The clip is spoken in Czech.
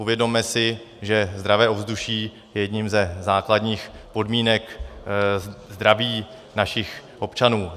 Uvědomme si, že zdravé ovzduší je jednou ze základních podmínek zdraví našich občanů.